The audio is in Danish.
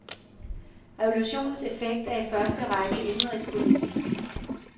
Revolutionens effekt er i første række indenrigspolitisk.